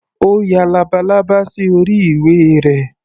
Ó ya labalábá sí orí ìwé rẹ̀.